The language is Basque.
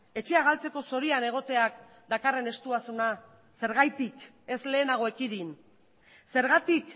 etxea galtzeko zorian egoteak dakarren estuasuna zergatik ez lehenago ekidin zergatik